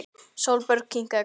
Sólborg kinkaði kolli.